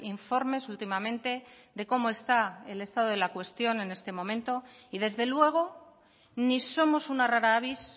informes últimamente de cómo está el estado de la cuestión en este momento y desde luego ni somos una rara avis